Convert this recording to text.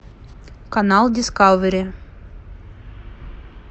канал дискавери